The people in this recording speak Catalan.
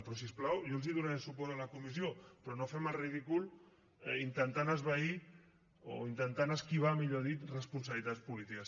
però si us plau jo els donaré suport a la comissió però no fem el ridícul intentant esvair o intentant esquivar millor dit responsabilitats polítiques